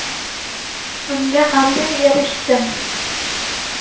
Bunga qanday erishdim?